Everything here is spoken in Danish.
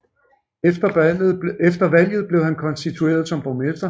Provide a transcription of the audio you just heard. Efter valget blev han konstitueret som borgmester